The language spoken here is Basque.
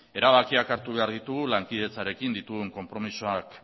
erabakiak hartu behar ditugu lankidetzarekin ditugun konpromisoak